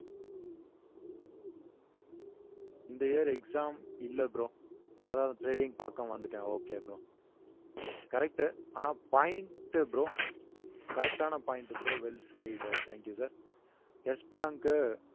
இந்த year exam இல்ல bro அதான் trading பார்க்க வந்துட்டேன் okay bro correct உ ஆனா point bro correct ஆன point bro well said thank you sir bank உ